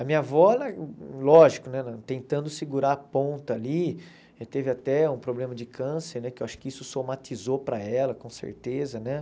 A minha avó, ela lógico, né ela tentando segurar a ponta ali, teve até um problema de câncer, né que eu acho que isso somatizou para ela, com certeza, né?